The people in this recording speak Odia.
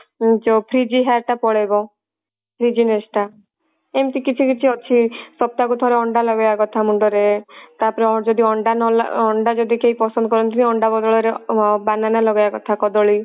ଯଉ frizzy hair ଟା ପଳେଇବ frizziness ଟା ଏମତି କିଛି କିଛି ଅଛି ସପ୍ତାହ କୁ ଥରେ ଅଣ୍ଡା ଲଗେଇବା କଥା ମୁଣ୍ଡ ରେ ତାପରେ ଯଦି ଅଣ୍ଡା ନ ଅଣ୍ଡା ଯଦି କେହି ପସନ୍ଦ କରନ୍ତିନି ଅଣ୍ଡା ବଦଳ ରେ banana ଲଗେଇବା କଥା କଦଳୀ